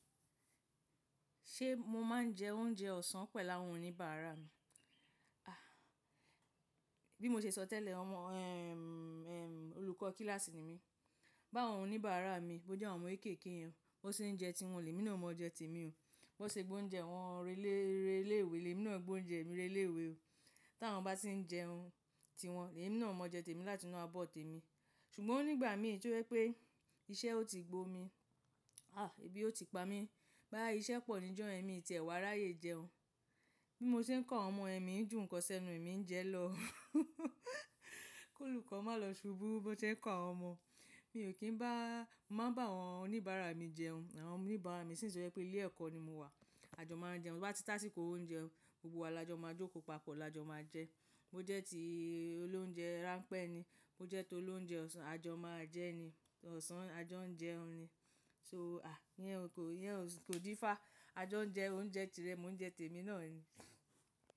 Ṣé mọ máa ń jẹ oúnjẹ ọ̀sán pẹ̀lú àwọn oníbàárà mi? A! Bí mọ ṣe sọ tẹ́lẹ̀, ọmọ, ẹm, ẹm, olùkọ́ kíláàsì ni mí. Bàwọn oníbàárà mi, bó jẹ́ àwọn ọmọ kéékèèké yẹn, bọ́ n ṣé jẹ tí wọ́n, lèmi náà ọ má jẹ tèmi o. Bí wọ́n ṣé gbóúnjẹ wọn relé ìwé, lèmi náà gbóúnjẹ mi relé ìwé o. Tí àwọn bá ti ń jẹun ti wọn, lèmi náà ó máa jẹ tèmi láti inú abọ̀ tèmi. Ṣùgbọ́n nígbà mìí tó jẹ́ pé, iṣẹ́ oti gbomi ebi ó ti pa mí. Bóyá iṣẹ́ pọ̀ níjọ́ mi tì ẹ wá ráyè jẹun. Bí mo ṣe ń kọ́ àwọn ọmọ yẹn mi ń jù nǹkan sẹ́nu èmi ń jẹ lọ. Kí olùkọ́ máa lọ ṣubú bó ṣe ń kọ́ àwọn ọmọ máa ń bá àwọn oníbàárà mi jẹun. Àwọn oníbàárà mi since tó jẹ́ pé ilé ẹ̀kọ́ ni mo wà, àjọ máa jẹun. Bo bá ti tá síko oúnjẹ, gbogbo wa làjọ máa jókòó papọ̀ làjọ máa jẹ. Bo jẹ́ ti olóunjẹ rán pẹ́ ni, bo jẹ́ ti olóunjẹ ọ̀sán àjọ máa jẹ́ ni. Ọ̀sán àjọ ń jẹun ni. So, ẹ yẹn kò d'ifa àjọ jẹ oúnjẹ tirẹ̀, mo ń jẹ tèmi náà ni.